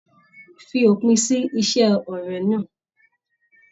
Fí òpin sí ise ọrẹ náà!